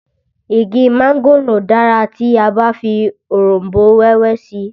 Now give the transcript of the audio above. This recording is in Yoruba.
Igi mángòrò dára tí a bá fi òronbó wẹ́wẹ́ sí i